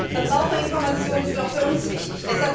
Verbraucherinformation ist auch für uns wichtig.